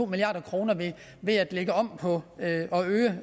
milliard kroner ved at lægge om på og øge